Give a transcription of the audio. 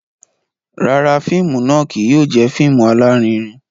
Rárá, fíìmù náà kìí yóò jẹ fíìmù alarinrin